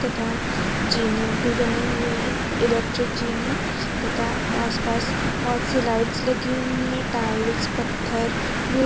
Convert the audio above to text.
तथा जीने भी बने हुए हैं इलेक्ट्रिक जीने तथा आस पास बहुत से लाइट्स लगी हुई है टाइल्स पत्थर भी--